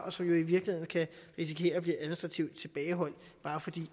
og som jo i virkeligheden kan risikere at blive administrativt tilbageholdt bare fordi